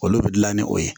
Olu bɛ dilan ni o ye